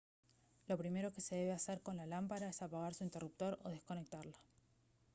lo primero que se debe hacer con la lámpara es apagar su interruptor o desconectarla